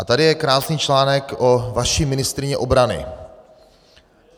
A tady je krásný článek o vaší ministryni obrany.